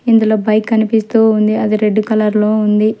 ఇందులో పై కనిపిస్తూ ఉంది అది రెడ్ కలర్ లో ఉంది.